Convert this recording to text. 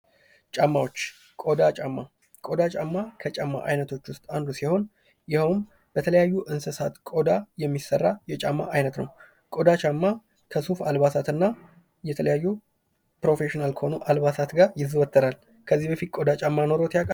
ጫማዎች ፦ ቆዳ ጫማ ፦ ቆዳ ጫማ ከጫማ አይነቶች ውስጥ አንዱ ሲሆን ይኸውም በተለያዩ የእንሰሳት ቆዳ የሚሰራ የጫማ ዓይነት ነው ። ቆዳ ጫማ ከሱፍ አልባሳት እና ከተለያዩ ፕሮፌሽናል ከሆኑ አልባሳት ጋር ይዘወተራል ። ከዚህ በፊት ቆዳ ጫማ ኑሮዎት ያውቃሉ ?